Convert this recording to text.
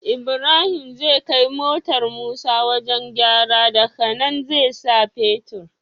Ibrahim zai kai motar musa wajan gyara daka nan zai sa fetir